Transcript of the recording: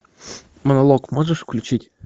монолог можешь включить